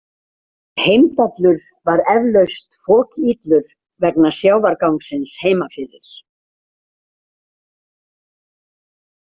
Heimdallur var eflaust fokillur vegna sjávargangsins heima fyrir.